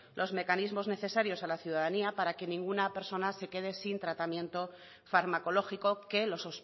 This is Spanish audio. los mecanismos necesarios a la ciudadanía para que ninguna persona se quede sin tratamiento farmacológico que los